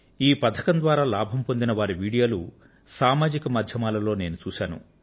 ఈ పథకం ద్వారా లాభం పొందిన వారి వీడియోలు సామాజిక మాధ్యమాలలో నేను చూశాను